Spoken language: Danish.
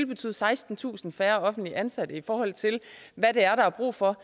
betyde sekstentusind færre offentligt ansatte i forhold til hvad der er brug for